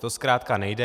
To zkrátka nejde.